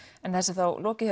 en þessu er þá lokið í